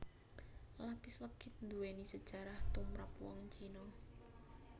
Lapis legit nduwéni sejarah tumprap wong Cina